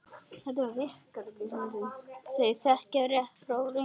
Þau þekkja rétt frá röngu.